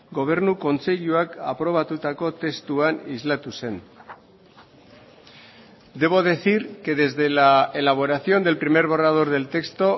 gobernu kontseiluak aprobatutako testuan islatu zen debo decir que desde la elaboración del primer borrador del texto